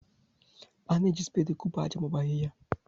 A na-eji speedị ekupu aja ma ọ bụ ahịhịa.